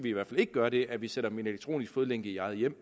i hvert fald ikke gøre det at vi sætter dem i en elektronisk fodlænke i eget hjem